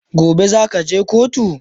gobe zakaje kotu?